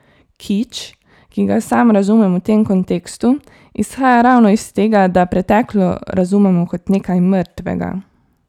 Kič, ki ga sam razumem v tem kontekstu, izhaja ravno iz tega, da preteklo razumemo kot nekaj mrtvega.